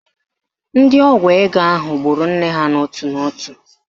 Ndị ọgwụ ego ahụ gburu nne ha n'ótù n'ótù